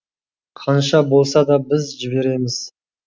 қанша болса да біз жібереміз